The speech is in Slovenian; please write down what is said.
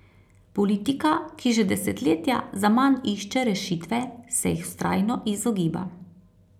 Politika, ki že desetletja zaman išče rešitve, se jih vztrajno izogiba.